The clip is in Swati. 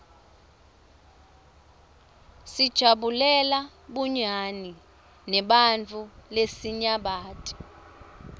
sijabulela bunyani neebantfu lesinyabati